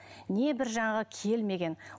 не бір жаңағы келмеген